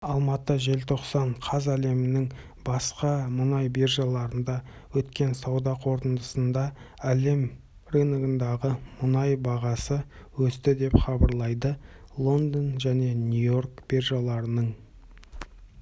алматы желтоқсан қаз әлемнің басты мұнай биржаларында өткен сауда қортындысында әлем рыногындағы мұнай бағасы өсті деп хабарлайды лондон және нью-йорк биржаларының